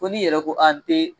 Fo ni yɛrɛ ko a n te